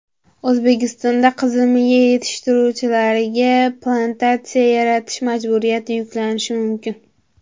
O‘zbekistonda qizilmiya yetishtiruvchilarga plantatsiya yaratish majburiyati yuklanishi mumkin.